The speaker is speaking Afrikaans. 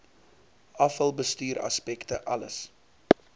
afvalbestuur aspekte alles